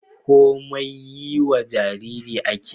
komai yiwa Jariri ake